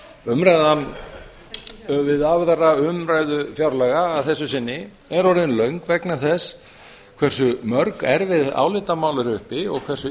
umræðan við aðra umræðu fjárlaga að þessu sinni er orðin löng vegna þess hversu mörg erfið álitamál eru uppi og hversu